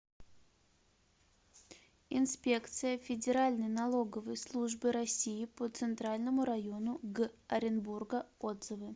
инспекция федеральной налоговой службы россии по центральному району г оренбурга отзывы